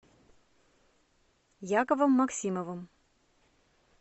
яковом максимовым